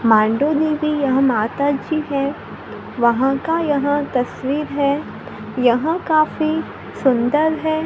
मांडू देवी यह माताजी है वहां का यह तस्वीर है यहां काफी सुंदर है।